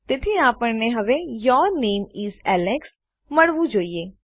તેથી આપણને હવે યૂર નામે ઇસ એલેક્સ મળવું જોઈએ